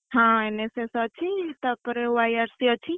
ହଁ NSS ଅଛି ତାପରେ YRC ଅଛି।